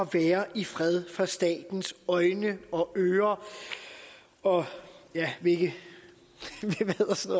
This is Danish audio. være i fred fra statens øjne og ører og hvilke